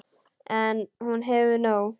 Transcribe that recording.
En hún hefur nóg.